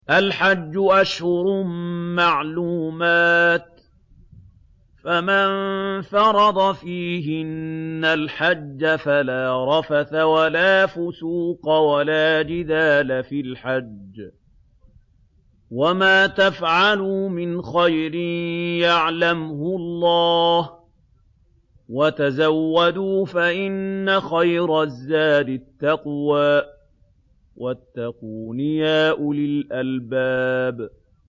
الْحَجُّ أَشْهُرٌ مَّعْلُومَاتٌ ۚ فَمَن فَرَضَ فِيهِنَّ الْحَجَّ فَلَا رَفَثَ وَلَا فُسُوقَ وَلَا جِدَالَ فِي الْحَجِّ ۗ وَمَا تَفْعَلُوا مِنْ خَيْرٍ يَعْلَمْهُ اللَّهُ ۗ وَتَزَوَّدُوا فَإِنَّ خَيْرَ الزَّادِ التَّقْوَىٰ ۚ وَاتَّقُونِ يَا أُولِي الْأَلْبَابِ